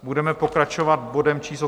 Budeme pokračovat bodem číslo